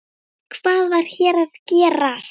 Hvað var hér að gerast?